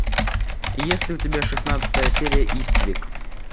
есть ли у тебя шестнадцатая серия иствик